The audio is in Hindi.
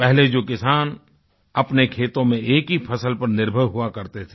पहले जो किसान अपने खेतों में एक ही फसल पर निर्भर हुआ करते थे